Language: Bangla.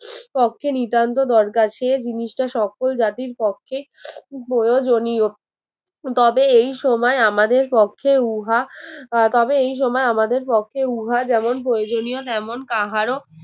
পক্ষে নিতান্ত দরকার সে জিনিসটা সকল জাতির পক্ষে প্রয়োজনীয় তবে এই সময় আমাদের পক্ষে উহা তবে এই সময় আমাদের পক্ষে উহা যেমন প্রয়োজনীয় তেমন কাহার